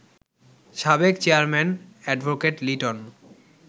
সাবেক চেয়ারম্যান অ্যাড. লিটন